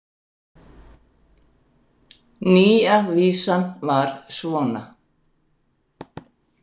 Nýja vísan var svona: